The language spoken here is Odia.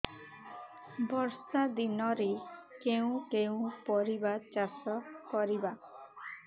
ବର୍ଷା ଦିନରେ କେଉଁ କେଉଁ ପରିବା ଚାଷ କରିବା